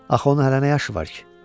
Axı onun hələ nə yaşı var ki?